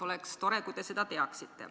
Oleks tore, kui te seda teaksite.